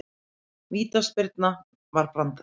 Vítaspyrnan var brandari